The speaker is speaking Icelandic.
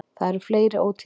Það eru fleiri ótíðindi.